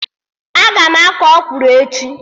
Aga m akọ ọkwụrụ echi